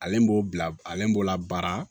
Ale b'o bila ale b'o la baara